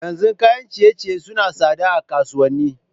Yanzun kayan ciye ciye sunayi tsada a kasuwanni